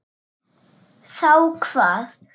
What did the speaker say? Þá hvað?